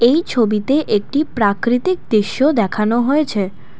এই ছবিতে একটি প্রাকৃতিক দৃশ্য দেখানো হয়েছে।